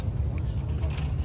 Gəl, otur burda, gəl.